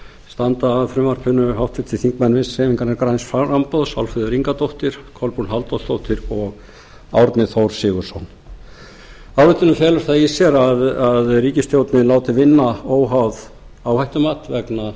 standa að frumvarpinu háttvirtir þingmenn vinstri hreyfingarinnar græns framboðs álfheiður ingadóttir kolbrún halldórsdóttir og árni þór sigurðsson ályktunin felur það í sér að ríkisstjórnin er látin vinna óháð áhættumat vegna